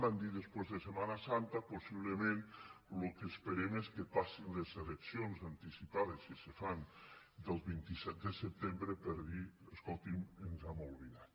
van dir després de setmana santa possiblement el que esperem és que passin les eleccions anticipades si se fan del vint set de setembre per dir escoltin ens n’hem oblidat